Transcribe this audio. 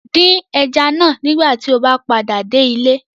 Dín ẹja náà nígbà tí o bá padà dé ilé